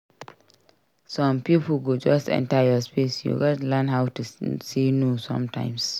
Some pipo go just enter your space; you gatz learn to say no sometimes.